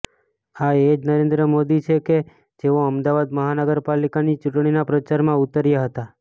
આ એ જ નરેન્દ્ર મોદી છે કે જેઓ અમદાવાદ મહાનગર પાલિકાની ચૂંટણીના પ્રચારમાં ઉતર્યા હતાં